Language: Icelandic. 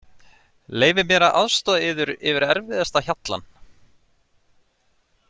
Leyfið mér að aðstoða yður yfir erfiðasta hjallann.